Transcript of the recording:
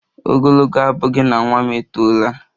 Ogologo abughi na nwa m etola